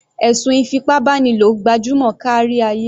Ẹ̀sùn ìfipábánilò gbajúmọ̀ kárí ayé.